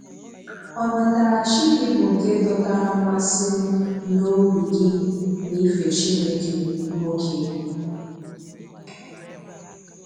Ọnàtàràchi gị bụ nke dọtara mmasị m na obi gị na-ife Chineke, nwoke.